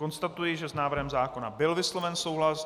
Konstatuji, že s návrhem zákona byl vysloven souhlas.